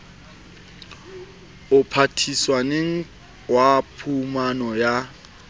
o patisaneng wa phumano ya